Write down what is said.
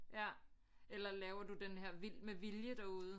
Ja eller laver du den her vild med vilje derude